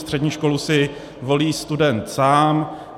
Střední školu si volí student sám.